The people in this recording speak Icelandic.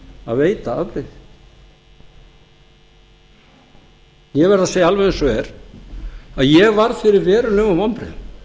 að veita afbrigði ég verð að segja alveg eins og er að ég varð fyrir verulegum vonbrigðum